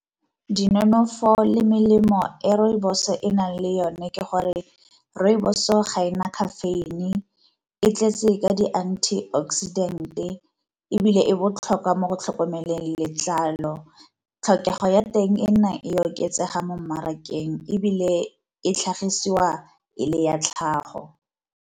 Dinonofo le melemo e rooibos e e nang le yone ke gore rooibos-o ga e na caffeine e tletse ka di anti-oxidant-e, ebile e botlhokwa mo go tlhokomeleng letlalo. Tlhokego ya teng e nnang e oketsega mo mmarakeng ebile e tlhagisiwa e le ya tlhago.